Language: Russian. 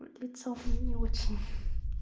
лицо не очень